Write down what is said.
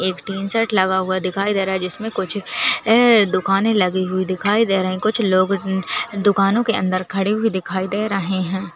एक tin sheet लगा हुआ दिखाई दे रहा जिसमें कुछ ऐं दुकानें लगी हुई दिखाई दे रही कुछ लोग दुकानों के अंदर खड़े हुए दिखाई दे रहे है।